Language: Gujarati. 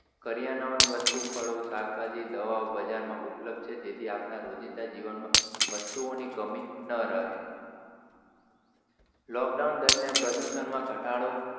કરિયાણાનીવસ્તુ, ફળો, શાકભાજી, દવાઓ, બજાર માં ઉપપ્લબધ છે જેથી આપના રોજીંદા જીવન માં વસ્તુઓની કમી ન રહે lockdown દરમ્યાન પ્રદુષણ માં ઘટાડો,